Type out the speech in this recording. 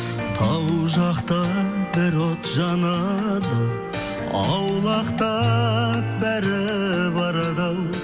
тау жақта бір от жанады ау аулақтап бәрі барады ау